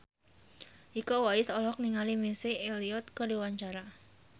Iko Uwais olohok ningali Missy Elliott keur diwawancara